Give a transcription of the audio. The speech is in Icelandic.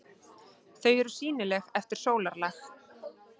Þau eru sýnileg eftir sólarlag.